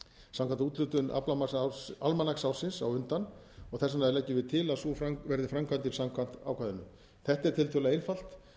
samkvæmt úthlutun almanaksársins á undan og þess vegna leggjum við til að sú verði framkvæmdin samkvæmt ákvæðinu þetta er tiltölulega einfalt